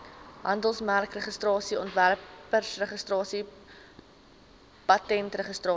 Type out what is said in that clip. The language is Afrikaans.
handelsmerkregistrasie ontwerpregistrasie patentregistrasie